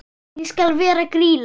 Ég skal vera Grýla.